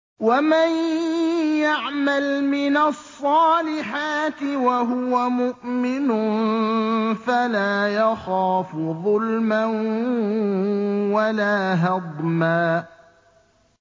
وَمَن يَعْمَلْ مِنَ الصَّالِحَاتِ وَهُوَ مُؤْمِنٌ فَلَا يَخَافُ ظُلْمًا وَلَا هَضْمًا